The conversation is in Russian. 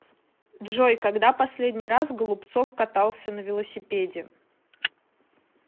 джой когда последний раз голубцов катался на велосипеде